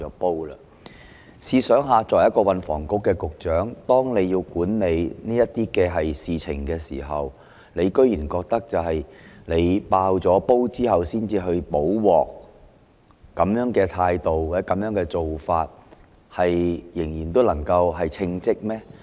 大家試想想，他作為運房局局長，當要管理這些事情時，竟然認為要"爆煲"後才去"補鑊"，持這種態度或做法，仍算得上稱職嗎？